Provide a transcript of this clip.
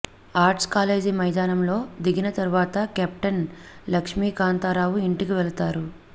arts college మైదానంలో దిగిన తరువాత కెప్టెన్ లక్ష్మీకాంతారావు ఇంటికి వెళతారు